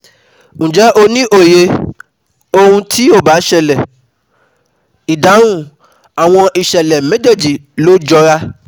Ǹjẹ́ ẹ ní òye um ohun tí ì bá ṣẹ̀lẹ̀? Ìdáhùn: Àwọn ìṣẹ̀lẹ̀ méjèejì ló jọra